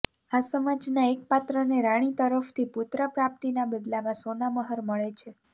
આ સમાજના એક પાત્રને રાણી તરફથી પુત્ર પ્રાપ્તિના બદલામાં સોનામહોર મળે છે